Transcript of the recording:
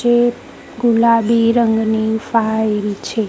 જે ગુલાબી રંગની ફાઇલ છે.